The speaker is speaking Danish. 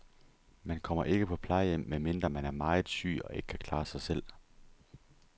Man kommer ikke på plejehjem, medmindre man er meget syg og ikke kan klare sig selv.